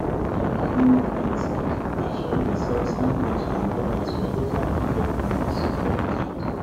to add more money inside ashok dey sell sandwich and burgers for local cricket grounds for weekend